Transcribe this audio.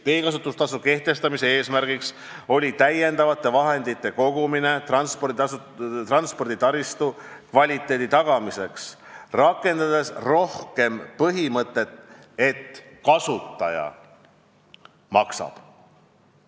Teekasutustasu kehtestamise eesmärk oli koguda täiendavaid vahendeid transporditaristu kvaliteedi tagamiseks, rakendades rohkem põhimõtet, et kasutaja maksab.